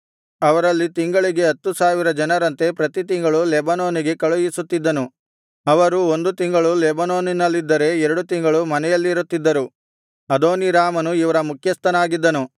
ಅವರಲ್ಲಿ ತಿಂಗಳಿಗೆ ಹತ್ತು ಸಾವಿರ ಜನರಂತೆ ಪ್ರತಿತಿಂಗಳು ಲೆಬನೋನಿಗೆ ಕಳುಹಿಸುತ್ತಿದ್ದನು ಅವರು ಒಂದು ತಿಂಗಳು ಲೆಬನೋನಿನಲ್ಲಿದ್ದರೆ ಎರಡು ತಿಂಗಳು ಮನೆಯಲ್ಲಿರುತ್ತಿದ್ದರು ಅದೋನೀರಾಮನು ಇವರ ಮುಖ್ಯಸ್ಥನಾಗಿದ್ದನು